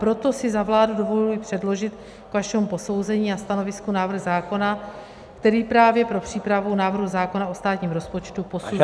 Proto si za vládu dovoluji předložit k vašemu posouzení a stanovisku návrh zákona, který právě pro přípravu návrhu zákona o státním rozpočtu posuzuje -